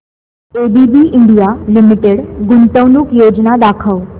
ABB India limited गुंतवणूक योजना दाखव